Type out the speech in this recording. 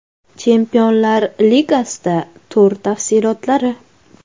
Chempionlar Ligasida tur tafsilotlari.